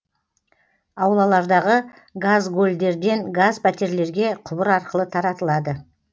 аулалардағы газгольдерден газ пәтерлерге құбыр арқылы таратылады